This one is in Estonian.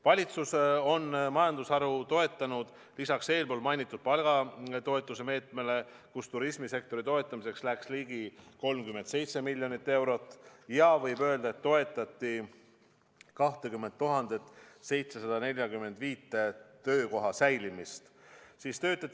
" Valitsus on majandusharu toetanud ka lisaks eespool mainitud palgatoetuse meetmele, kus turismisektori toetamiseks läks ligi 37 miljonit eurot, ja võib öelda, et toetati 20 745 töökoha säilimist.